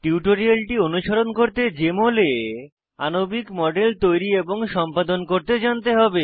টিউটোরিয়ালটি অনুসরণ করতে জেএমএল এ আণবিক মডেল তৈরী এবং সম্পাদন করতে জানতে হবে